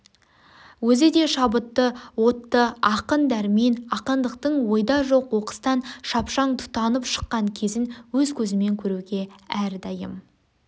өзі де шабытты отты ақын дәрмен ақындықтың ойда жоқ оқыстан шапшаң тұтанып шыққан кезін өз көзімен көруге әрдайдым